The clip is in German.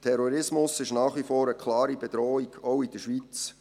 Terrorismus ist nach wie vor eine klare Bedrohung, auch in der Schweiz.